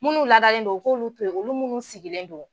Munnu ladalen do u k'olu to ye olu munnu sigilen do.